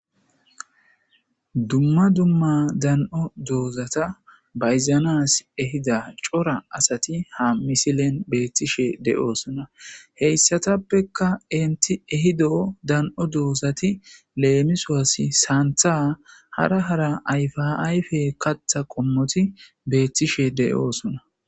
Dumma dumma dan'o doozata bayzanas ehida cora asati ha misilen beettishe de'oosona heyssatappekka inti ehido dan'o doosati leemisowasi saantha hara hara ayfaayfe katha qommoti beettishe de'oosona.